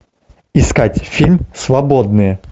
искать фильм свободные